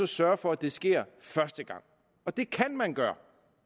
sørge for at det sker første gang og det kan man gøre